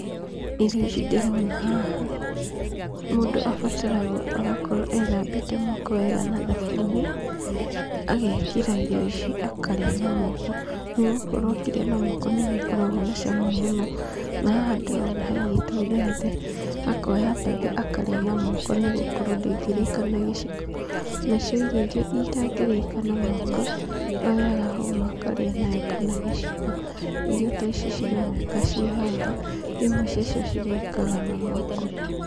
Irio icio ndĩrona haha, mũndũ abataraga o agakorwo ethambĩte moko wega na thabuni, agekĩra irio ici akarĩa na moko. Nĩgũkorwo akĩrĩa na moko nĩguo ikoragwo na cama mũno. Na haha ndĩrona haigĩtwo mbembe, akoya mbembe akarĩa na moko nĩgũkorwo ndĩngĩrĩka na gĩciko. Na cio irio irĩa itangĩrĩka na moko, oyaga hũma akarĩa nayo kana gĩciko. Irio ta ici cironeka ciĩ haha, imwe cia cio cirĩkaga na moko.